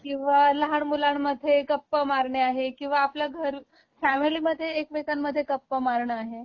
किंवा लहान मुलांमध्ये गप्पा मारणे आहे किंवा आपल्या घर, फॅमिली मधे एकमेकांमध्ये गप्पा मारण आहे